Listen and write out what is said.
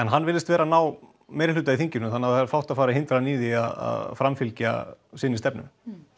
hann virðist vera að ná meirihluta í þinginu þannig að það er fátt að fara að hindra hann í að framfylgja sinni stefnu